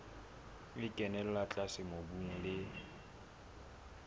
e kenella tlase mobung le